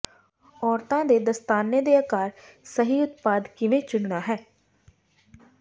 ਔਰਤਾਂ ਦੇ ਦਸਤਾਨੇ ਦੇ ਆਕਾਰ ਸਹੀ ਉਤਪਾਦ ਕਿਵੇਂ ਚੁਣਨਾ ਹੈ